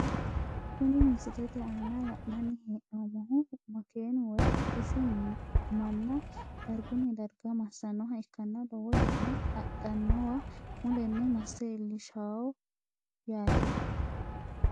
Kuni misilete aana la`nani henomohu makeenu woyi hodhishu mana darguni darga masanoha ikanna lowo yanna adhanowa muleni masse iilishawoho yaate.